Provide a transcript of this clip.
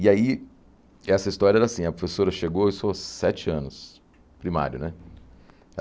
E aí, essa história era assim, a professora chegou, eu sou sete anos, primário, né?